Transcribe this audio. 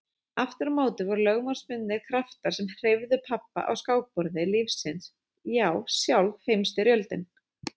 Aftur á móti voru lögmálsbundnari kraftar sem hreyfðu pabba á skákborði lífsins já sjálf Heimsstyrjöldin.